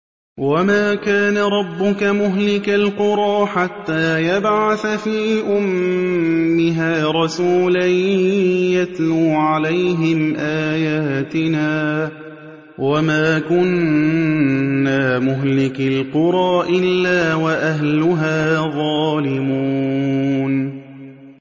وَمَا كَانَ رَبُّكَ مُهْلِكَ الْقُرَىٰ حَتَّىٰ يَبْعَثَ فِي أُمِّهَا رَسُولًا يَتْلُو عَلَيْهِمْ آيَاتِنَا ۚ وَمَا كُنَّا مُهْلِكِي الْقُرَىٰ إِلَّا وَأَهْلُهَا ظَالِمُونَ